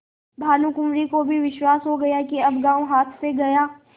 भानुकुँवरि को भी विश्वास हो गया कि अब गॉँव हाथ से गया